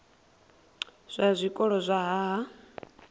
zwa zwikolo zwa nha ha